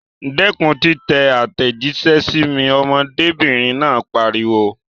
Dẹ́kun títẹ àtẹ̀jíṣẹ́ sí mi! Ọmọdébìnrin náà pariwo.